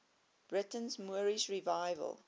britain's moorish revival